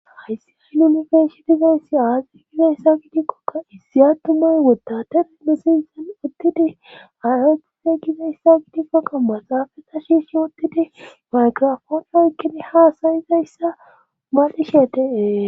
Hayssi aynunifeshi dizayssi aazi gizayssa gidikkokka issi attumay wotta ten mesinsan uttidi ayotizey gizayssa gidikko qamma saafeta shiishi woottidi maygrafonoykkini haasayizayssa madishe de7e.